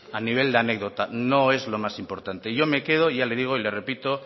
a nivel de anécdota no es lo más importante yo me quedo y ya le digo y le repito